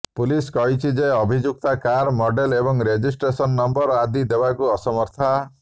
police କହିଛି ଯେ ଅଭିଯୁକ୍ତା କାର୍ ମଡେଲ୍ ଏବଂ ରେଜିଷ୍ଟ୍ରେସନ୍ ନମ୍ବର ଆଦି ଦେବାକୁ ଅସମର୍ଥା